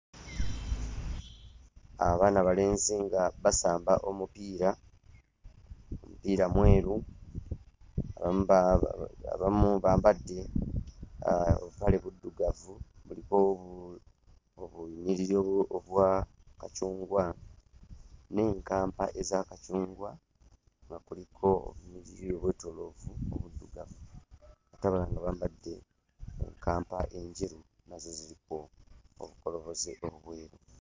Abaana abalenzi nga basamba omupiira. Omupiira mweru, abamu ba ba abamu bambadde obupale buddugavu, buliko obunyiriri obwa kacungwa n'enkampa eza kacungwa, nga kuliko obunyiriri obwetooloovu obuddugavu ate abalala nga bambadde enkampa enjeru, nazo ziriko obukoloboze obweru.